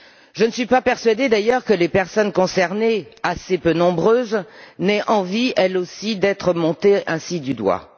Je ne suis pas persuadée, d'ailleurs, que les personnes concernées, assez peu nombreuses, aient envie, elles aussi, d'être montrées ainsi du doigt.